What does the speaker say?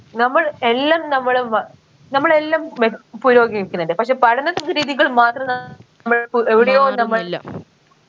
നമ്മൾ എല്ലം നമ്മൾ വ നമ്മൾ എല്ലം മെപുരോഗമിക്കണിണ്ട് പക്ഷെ പഠന രീതികൾ മാത്രം ന മ്മൾക്ക് എവിടെയോ നമ്മൾ